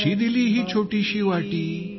कशी दिली ही छोटीशी वाटी